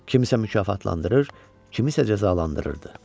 Kimsə mükafatlandırır, kimisə cəzalandırırdı.